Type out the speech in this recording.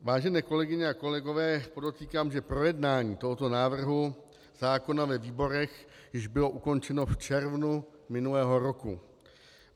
Vážené kolegyně a kolegové, podotýkám, že projednání tohoto návrhu zákona ve výborech již bylo ukončeno v červnu minulého roku.